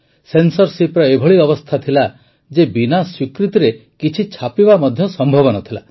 ସେନ୍ସରଶିପର ଏଭଳି ଅବସ୍ଥା ଥିଲା ଯେ ବିନା ସ୍ୱୀକୃତିରେ କିଛି ଛାପିବା ମଧ୍ୟ ସମ୍ଭବ ନ ଥିଲା